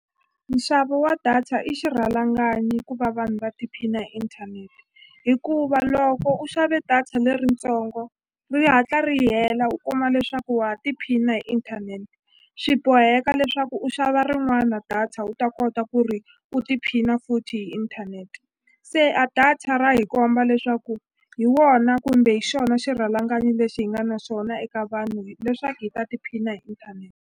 Nxavo wa data i xirhalanganyi ku va vanhu va tiphina hi inthanete hikuva loko u xave data leritsongo ri hatla ri hela u kuma leswaku wa ha tiphina hi inthanete swi boheka leswaku u xava rin'wana data u ta kota ku ri u tiphina futhi hi inthanete se a data ra hi komba leswaku hi wona kumbe hi xona xirhalanganyi lexi hi nga na xona eka vanhu leswaku hi ta tiphina hi inthanete.